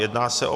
Jedná se o